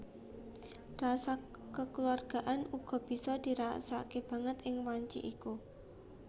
Rasa kekeluargaan uga bisa dirasakke banget ing wanci iku